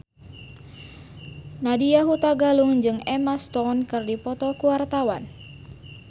Nadya Hutagalung jeung Emma Stone keur dipoto ku wartawan